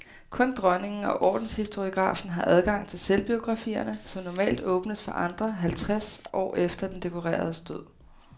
Kun dronningen og ordenshistoriografen har adgang til selvbiografierne, som normalt åbnes for andre halvtreds år efter den dekoreredes død.